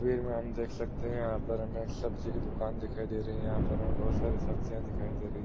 वीर ममें हम देख सकते हैं यहाँ पर हमे एक सब्ज़ी की दुकान दिखायी दे रही हैं यहाँ पर हमे बहुत सारी सब्जियों दिखाई दे रही --